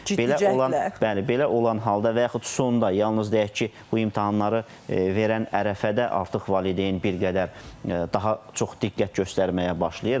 Belə olan, bəli, belə olan halda və yaxud sonda yalnız deyək ki, bu imtahanları verən ərəfədə artıq valideyn bir qədər daha çox diqqət göstərməyə başlayır.